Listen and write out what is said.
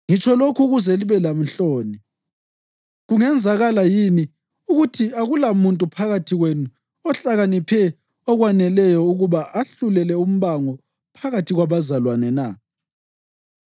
Ngitsho lokhu ukuze libelenhloni. Kungenzakala yini ukuthi akulamuntu phakathi kwenu ohlakaniphe okwaneleyo ukuba ahlulele umbango phakathi kwabazalwane na?